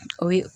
O ye